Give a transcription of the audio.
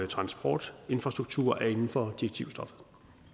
transportinfrastruktur er inden for direktivstoffet